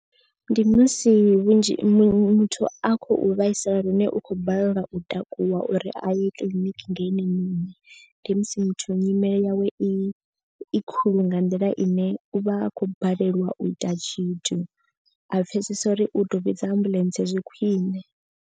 Ndi musi vhunzhi muthu a khou vhaisala lune u khou balelwa u takuwa uri a ye kiḽiniki nga ene nṋe muṋe. Ndi musi muthu nyimele yawe i i khulu nga nḓila ine u vha a khou balelwa u ita tshithu. A pfhesesa uri u tou vhidza ambuḽentse zwi khwine.